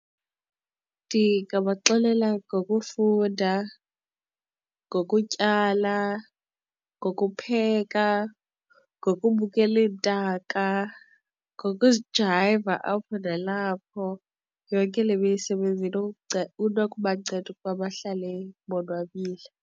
Ndingabaxelela ngokufunda, ngokutyala, ngokupheka ngokubukela iintaka ngokuzijayiva apho nalapho. Yonke le misebenzini inokubanceda ukuba bahlale bonwabile.